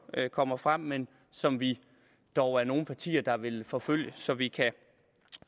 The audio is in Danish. kommer frem men som vi dog er nogle partier der vil forfølge så vi kan